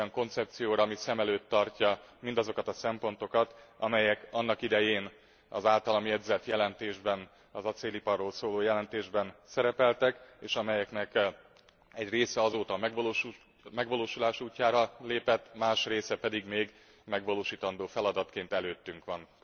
Olyan koncepcióra, ami szem előtt tartja mindazokat a szempontokat, amelyek annak idején az általam jegyzett jelentésben, az acéliparról szóló jelentésben szerepeltek, és amelyeknek egy része azóta a megvalósulás útjára lépett, más része pedig megvalósítandó feladatként előttünk van.